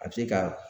A bɛ se ka